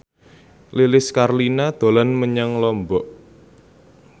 Lilis Karlina dolan menyang Lombok